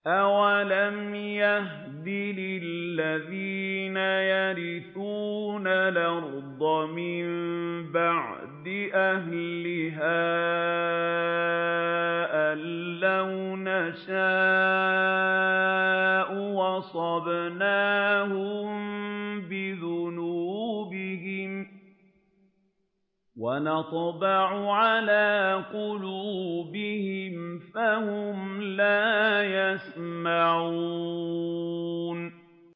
أَوَلَمْ يَهْدِ لِلَّذِينَ يَرِثُونَ الْأَرْضَ مِن بَعْدِ أَهْلِهَا أَن لَّوْ نَشَاءُ أَصَبْنَاهُم بِذُنُوبِهِمْ ۚ وَنَطْبَعُ عَلَىٰ قُلُوبِهِمْ فَهُمْ لَا يَسْمَعُونَ